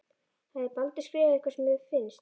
Hafði Baldur skrifað eitthvað sem þér fannst.